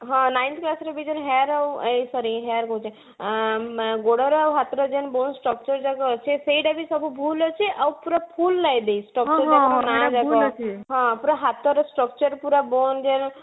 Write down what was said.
ହଁ nine class ରେ ଦେଇଛନ hair ର ଏ sorry hair କହୁଛି ଆଁ bone structure ଯାକ ଅଛି ସେଇଟା ବି ସବୁ ଭୁଲ ଅଛି ଆଉ ପୁରା full ନାଇଁ ବି structure ଯାକ ର ନାଁ ଯାକ ହଁ ପୁରା ହାତ ର structure ପୁରା bone ଯାକ